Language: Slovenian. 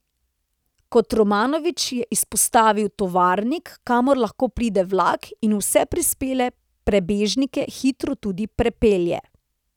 Kotromanović je izpostavil Tovarnik, kamor lahko pride vlak in vse prispele prebežnike hitro tudi prepelje.